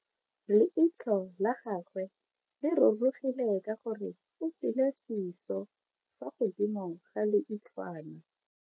Leitlho la gagwe le rurugile ka gore o tswile siso fa godimo ga leitlhwana.